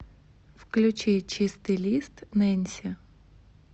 включи чистый лист нэнси